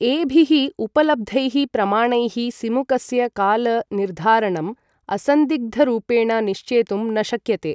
एभिः उपलब्धैः प्रमाणैः सिमुकस्य काल निर्धारणम् असन्दिग्धरूपेण निश्चेतुं न शक्यते।